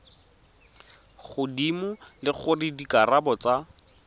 godimo le gore dikarabo tsa